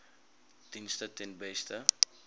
dienste ten beste